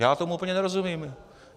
Já tomu úplně nerozumím.